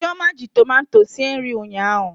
Chioma ji tomato sie nri ụnyaahụ.